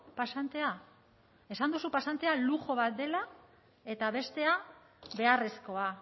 pasantea esan duzu pasantea lujo bat dela eta bestea beharrezkoa